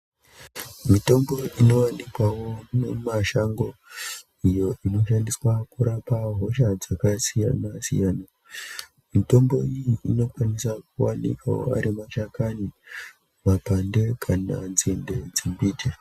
Mitombo inowanikwawo mumashango iyo inoshandiswa kurapa hosha dzakasiyana siyana. Mitombo iyi inokwanisa kuwanikwawo ari mashakani, mapande kana nzinde dzembiti.